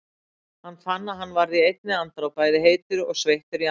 Hann fann að hann varð í einni andrá bæði heitur og sveittur í andliti.